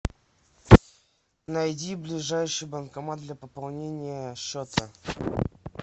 найди ближайший банкомат для пополнения счета